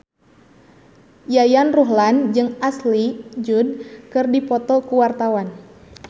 Yayan Ruhlan jeung Ashley Judd keur dipoto ku wartawan